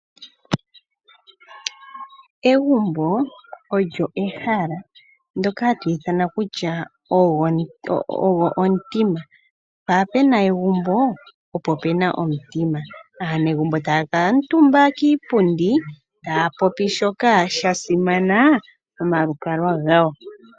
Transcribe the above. Egumbo olyo ehala ndyoka hatu ithana kutya ogwo omutima. Mpa pena egumbo opo pena omutima, aanegumbo taya kala omutumba kiipundi taya popi shoka shasimana momalukalwa gawo.